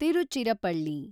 Tiruchirappalli